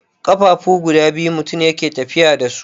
ƙafafuwa guda biyu mutum yake tafiya da su.